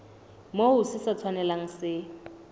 moo se sa tshwanelang se